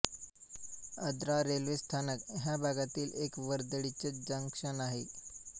Adra railway स्थानक ह्या भागातील एक वर्दळीचे जंक्शन आहे